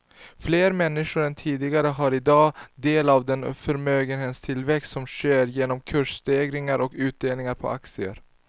Fler människor än tidigare får i dag del av den förmögenhetstillväxt som sker genom kursstegringar och utdelningar på aktier.